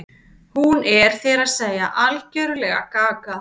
Hún er, þér að segja, algerlega gaga.